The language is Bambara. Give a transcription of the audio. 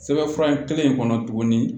Sɛbɛnfura in kelen kɔnɔ tuguni